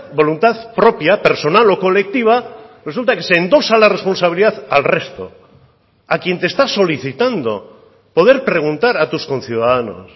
voluntad propia personal o colectiva resulta que se endosa la responsabilidad al resto a quien te está solicitando poder preguntar a tus conciudadanos